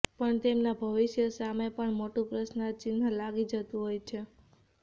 પણ તેમના ભવિષ્ય સામે પણ મોટુ પ્રશ્રનાર્થ ચિન્હ લાગી જતુ હોય છે